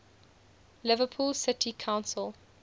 liverpool city council